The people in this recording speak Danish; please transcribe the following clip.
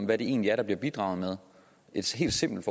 hvad det egentlig er der bliver bidraget med et helt simpelt